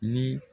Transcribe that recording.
Ni